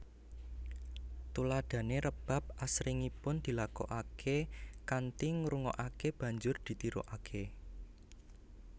Tuladhané rebab asringipun dilakokaké kanthi ngrungokaké banjur ditirukaké